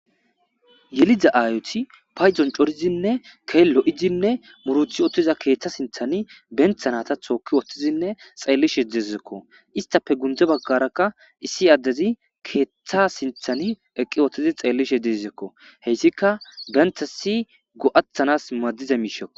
Yeliza aayoti payzon corizinne keello7izinne muruthi ottiza keeththa sinthani benthanata tooki woththizinne xeellishe dezekko istafe gundze baggarakka issi addezi keeththa sinthani eqqi wottizi xeellishe dezekko heyssika benthasi go7athanas madiza miishekko.